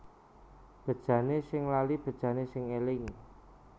Bejane sing lali bejane sing eling